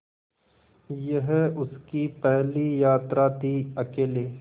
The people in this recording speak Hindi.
यह उसकी पहली यात्रा थीअकेले